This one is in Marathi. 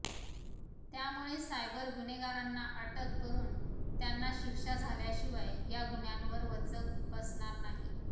त्यामुळे सायबर गुन्हेगारांना अटक करून त्यांना शिक्षा झाल्याशिवाय या गुन्ह्यांवर वचक बसणार नाही